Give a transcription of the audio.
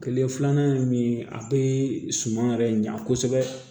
Kile filanan ye min ye a be suman yɛrɛ ɲa kosɛbɛ